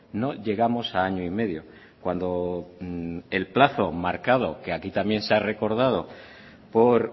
no llegamos a año y medio cuando el plazo marcado que aquí también se ha recordado por